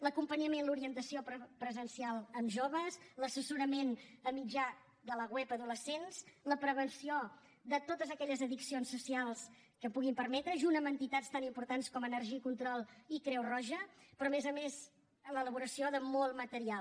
l’acompanyament l’orientació presencial amb joves l’assessorament per mitjà de la web adolescents la prevenció de totes aquelles addiccions socials que puguin permetre junt amb entitats tan importants com energy control i creu roja però a més a més l’elaboració de molt material